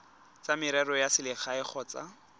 tsa merero ya selegae kgotsa